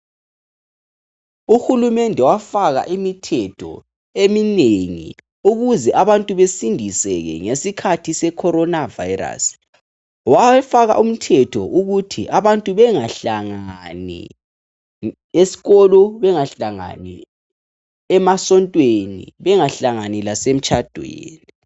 UHulumende wafaka imithetho eminengi ukuze abantu besindiseke ngesikhathi secorona virus. Wafaka umthetho ukuthi abantu bengahlangani, esikolo bengahlangani, emasontweni bengahlangani lasemtshadweni.